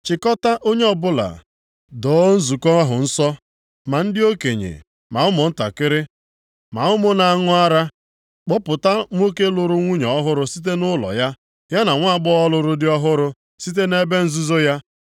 Chịkọtaa onye ọbụla, doo nzukọ ahụ nsọ, ma ndị okenye, ma ụmụntakịrị, ma ụmụ na-aṅụ ara. Kpọpụta nwoke lụrụ nwunye ọhụrụ site nʼụlọ ya, ya na nwaagbọghọ lụrụ dị ọhụrụ site nʼebe nzuzo ya.